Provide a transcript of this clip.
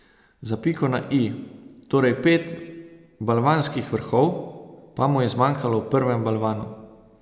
Za piko na i, torej pet balvanskih vrhov, pa mu je zmanjkalo v prvem balvanu.